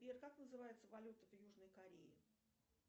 сбер как называется валюта в южной корее